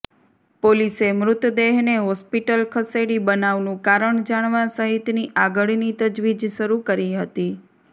પોલીસે મૃતદેહને હોસ્પિટલ ખસેડી બનાવનું કારણ જાણવા સહિતની આગળની તજવીજ શરુ કરી હતી